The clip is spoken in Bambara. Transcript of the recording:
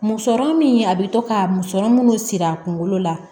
Musɔrɔ min a bɛ to ka musɔrɔ munnu siri a kunkolo la